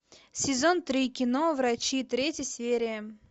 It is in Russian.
сезон три кино врачи третья серия